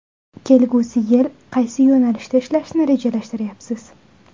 Kelgusi yil qaysi yo‘nalishda ishlashni rejalashtiryapsiz?